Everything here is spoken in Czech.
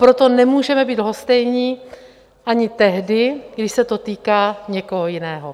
Proto nemůžeme být lhostejní ani tehdy, když se to týká někoho jiného.